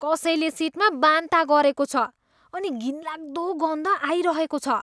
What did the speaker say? कसैले सिटमा बान्ता गरेको छ अनि घिनलाग्दो गन्ध आइरहेको छ।